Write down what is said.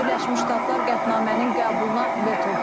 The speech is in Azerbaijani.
Birləşmiş Ştatlar qətnamənin qəbuluna veto qoyub.